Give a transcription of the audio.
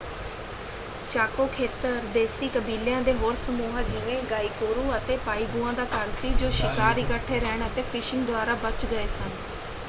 ਚਾਕੋ ਖੇਤਰ ਦੇਸੀ ਕਬੀਲਿਆਂ ਦੇ ਹੋਰ ਸਮੂਹਾਂ ਜਿਵੇਂ ਗਾਇਕੂਰੁ ਅਤੇ ਪਾਇਗੂਆ ਦਾ ਘਰ ਸੀ ਜੋ ਸ਼ਿਕਾਰ ਇਕੱਠੇ ਰਹਿਣ ਅਤੇ ਫਿਸ਼ਿੰਗ ਦੁਆਰਾ ਬਚ ਗਏ ਸਨ।